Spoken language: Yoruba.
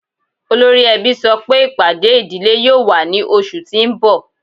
Ọlọ́ri èbí sọ́ pé ipádé idílé yóò wà ní ọṣù tí n bọ̀.